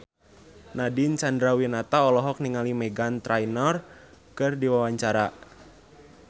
Nadine Chandrawinata olohok ningali Meghan Trainor keur diwawancara